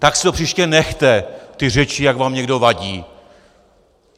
Tak si to příště nechte, ty řeči, jak vám někdo vadí.